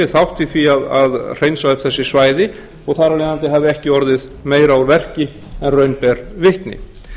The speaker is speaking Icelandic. þátt í því að hreinsa öll þessi svæði og þar af leiðandi hafi ekki orðið meira úr verki en raun ber vitni